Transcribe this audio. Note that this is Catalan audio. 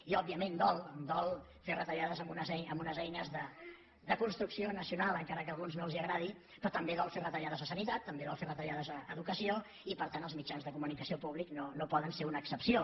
i òbviament dol dol fer retallades en unes eines de construcció nacional encara que a alguns no els agradi però també dol fer retallades a sanitat també dol fer retallades a educació i per tant els mitjans de comunicació públics no en poden ser una excepció